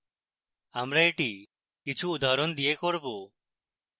আমরা এটি কিছু উদাহরণ দিয়ে করব